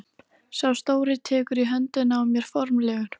Sá stóri tekur í höndina á mér formlegur.